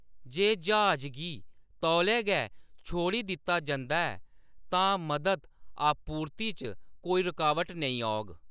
जे ज्हाज गी तौले गै छोड़ी दित्ता जंदा ऐ, तां मदद आपूर्ति च कोई रुकावट नेईं औग।